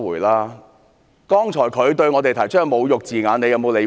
他剛才對我們說出的侮辱字眼，你有否理會？